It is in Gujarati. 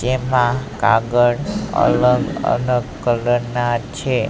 જેમા કાગળ અલગ અલગ કલર ના છે.